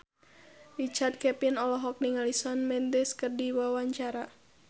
Richard Kevin olohok ningali Shawn Mendes keur diwawancara